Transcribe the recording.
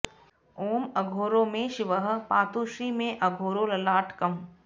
ॐ अघोरो मे शिवः पातु श्री मेऽघोरो ललाटकम्